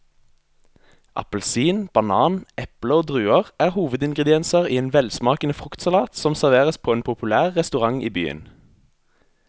Appelsin, banan, eple og druer er hovedingredienser i en velsmakende fruktsalat som serveres på en populær restaurant i byen.